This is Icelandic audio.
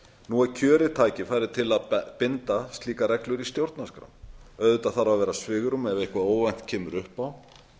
nú er kjörið tækifæri til að binda slíkar reglur í stjórnarskrá auðvitað þarf að vera svigrúm ef eitthvað óvænt kemur upp á